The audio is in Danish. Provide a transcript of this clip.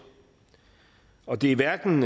og det er hverken